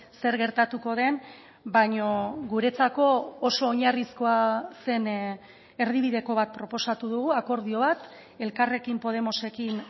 zer gertatuko den baino guretzako oso oinarrizkoa zen erdibideko bat proposatu dugu akordio bat elkarrekin podemosekin